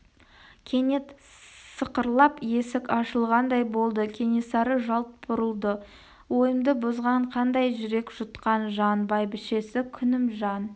кенет сықырлап есік ашылғандай болды кенесары жалт бұрылды ойымды бұзған қандай жүрек жұтқан жан бәйбішесі күнімжан